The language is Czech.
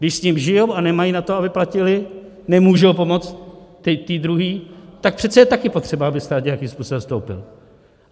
Když s ním žijí a nemají na to, aby platili, nemůžou pomoct té druhé, tak přece je taky potřeba, aby stát nějakým způsobem vstoupil.